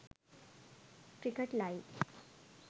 cricket live